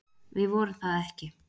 Við vorum það ekki.